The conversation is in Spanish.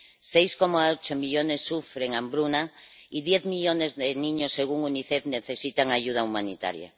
6,8 millones sufren hambruna y 10 millones de niños, según Unicef, necesitan ayuda humanitaria.